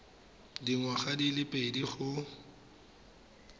dingwaga di le pedi go